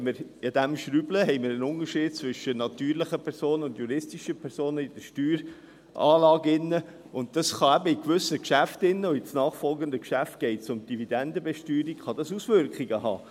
Wenn wir daran schrauben, haben wir einen Unterschied zwischen natürlichen und juristischen Personen in der Steueranlage, und das kann eben in gewissen Geschäften – und imnachfolgenden Geschäft geht es um Dividendenbesteuerung – Auswirkungen haben.